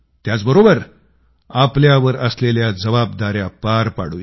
त्याचबरोबर आपल्यावर असलेल्या जबाबदाऱ्या पार पाडूया